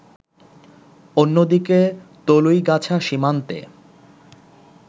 অন্যদিকে তলুইগাছা সীমান্তে